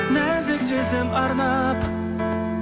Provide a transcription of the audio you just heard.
нәзік сезім арнап